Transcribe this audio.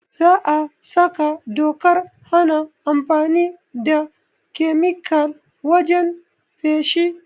Za a saka dokar hana amfani da kemikal wajen feshi